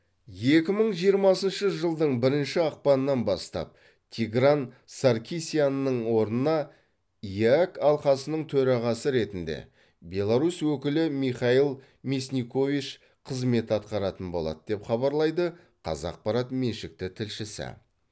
екі мың жиырмасыншы жылдың бірінші ақпанынан бастап тигран саркисянның орнына еэк алқасының төрағасы ретінде беларусь өкілі михаил мясникович қызмет атқаратын болады деп хабарлайды қазақпарат меншікті тілшісі